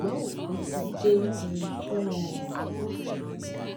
ṣùgbọn òpin ti dé um fún wọn o